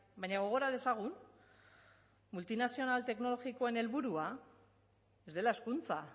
baina gogora dezagun multinazional teknologikoen helburua ez dela hezkuntza